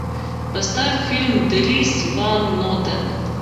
поставь фильм дрис ван нотен